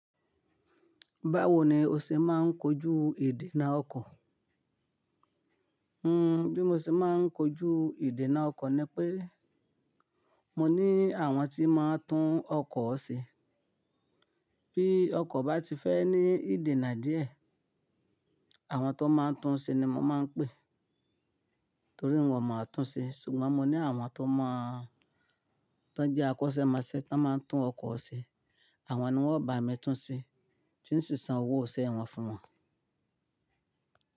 Báwo ni o ṣe máa ń kojú ìdènà ọkọ̀? Bí mo ṣe máa ń kojú ìdènà ọkọ̀ ni pé mo ní àwọn tí máa ń tún ọkọ̀ ṣe. Bí ọkọ̀ bá ti fẹ́ ní ìdènà díẹ̀, àwọn tó máa ń tún ṣe ni mo máa ń pé torí wọn mọ̀ ọ́n tún ṣe. Ṣùgbọ́n mo ní àwọn, tó ń jẹ́ akọ́ṣẹ́mọṣẹ́ tó máa ń tún ọkọ̀ ṣe. Àwọn ni wọ́n bá mi tún ṣe tí sì ń san owó isẹ wọn fún wọn.